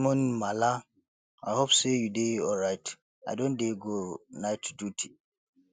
good evening maala i hope sey you dey alright i don dey go night duty